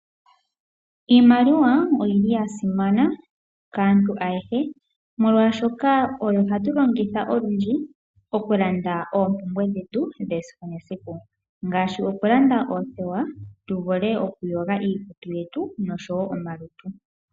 Iimaliwa oyili ya simana kaantu ayehe, molwaashoka oyo hatu longitha olundji okulanda oompumbwe dhetu dhesiku nesiku, ngaashi okulanda oothewa tu vule okuyoga iikutu yetu nosho wo omalutu.